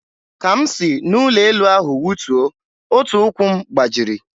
Ka m si n'elu ụlọ elu ahụ wụtuo, otu ụkwụ m gbajiri.